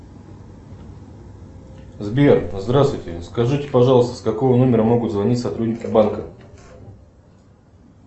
сбер здравствуйте скажите пожалуйста с какого номера могут звонить сотрудники банка